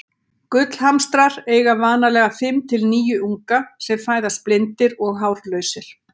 Gullhamstrar eiga vanalega fimm til níu unga sem fæðast blindir og hárlausir.